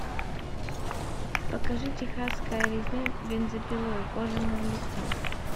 покажи техасская резня бензопилой кожаное лицо